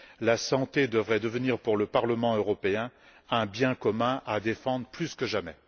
La santé devrait devenir, pour le Parlement européen, un bien commun à défendre plus que jamais.